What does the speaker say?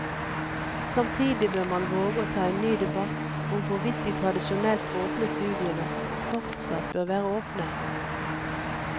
Samtidig bør man våge å ta en ny debatt om hvorvidt de tradisjonelt åpne studiene fortsatt bør være åpne.